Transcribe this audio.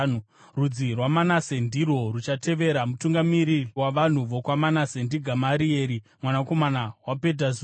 Rudzi rwaManase ndirwo ruchavatevera. Mutungamiri wavanhu vokwaManase ndiGamarieri mwanakomana waPedhazuri.